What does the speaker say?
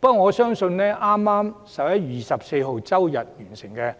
不過，我相信剛於11月24日完成的